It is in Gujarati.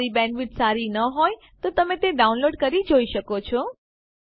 જો તમારી બેન્ડવિડ્થ સારી ન હોય તો તમે ડાઉનલોડ કરી તે જોઈ શકો છો